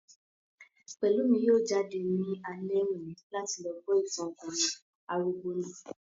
Pẹ̀lúmi yóò jáde ní alẹ́ òní láti lọ gbọ́ ìtàn ọkùnrin arúgbó náà